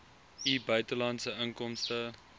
u buitelandse inkomste